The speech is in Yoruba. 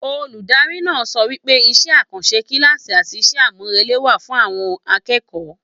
Olùdarí náà sọ wípé iṣẹ àkànṣe kilaasi àti iṣẹ amurele wà fún àwọn akẹ́kọ̀ọ́.